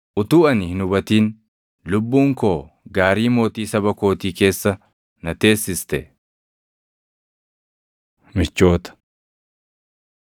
Utuu ani hin hubatin, lubbuun koo gaarii mootii saba kootii keessa na teessiste. Michoota